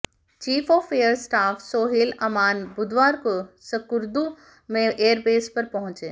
chief of air staff Sohail Aman बुधवार को स्कर्दू में एयरबेस पर पहुंचे